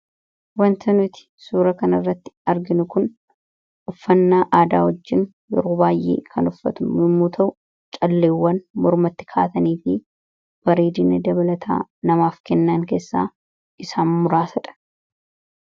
wanta nuti suura kanirratti arginu kun uffannaa aadaa wajjiin yarou baayyee kan uffatu mimmuu ta'u calleewwan mormatti kaatanii fi bareedina dabalataa namaaf kennaan keessaa isaan muraasadha